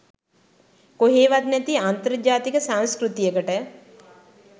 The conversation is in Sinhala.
කොහේවත් නැති අන්තර් ජාතික සංස්කෘතියකට